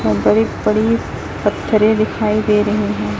बड़ी बड़ी पत्थरे दिखाई दे रहे हैं।